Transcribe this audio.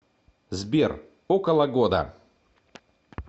сбер около года